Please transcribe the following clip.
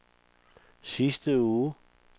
sidste uge